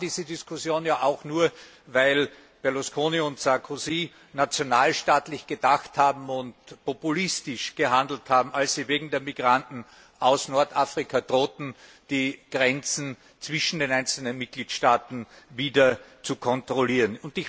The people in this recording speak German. Wir haben diese Diskussion ja auch nur, weil Berlusconi und Sarkozy nationalstaatlich gedacht und populistisch gehandelt haben, als sie wegen der Migranten aus Nordafrika drohten, die Grenzen zwischen den einzelnen Mitgliedstaaten wieder zu kontrollieren.